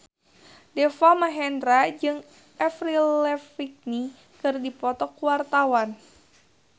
Deva Mahendra jeung Avril Lavigne keur dipoto ku wartawan